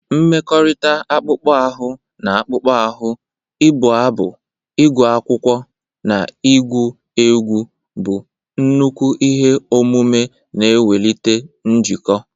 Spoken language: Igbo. Mmekọrịta akpụkpọ ahụ na akpụkpọ ahụ, ịbụ abụ, ịgụ akwụkwọ, na igwu egwu bụ nnukwu ihe omume na-ewulite njikọ.